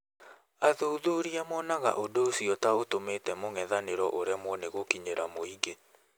Athuthuria monaga ũndũ ũcio ta ũtũmĩte mũngethanero ũremwo nĩ gũkinyĩra mũingĩ